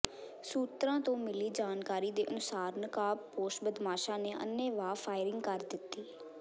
ਸੂਤਰਾਂ ਤੋਂ ਮਿਲੀ ਜਾਣਕਾਰੀ ਦੇ ਅਨੁਸਾਰ ਨਕਾਬਪੋਸ਼ ਬਦਮਾਸ਼ਾ ਨੇ ਅੰਨ੍ਹੇਵਾਹ ਫਾਇਰਿੰਗ ਕਰ ਦਿੱਤੀ